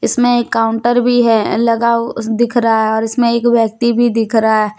इसमें एक काउंटर भी है लगा वो दिख रहा है और इसमें एक व्यक्ति भी दिख रहा है।